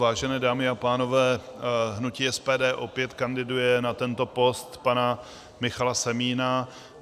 Vážené dámy a pánové, hnutí SPD opět kandiduje na tento post pana Michala Semína.